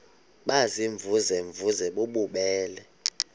baziimvuze mvuze bububele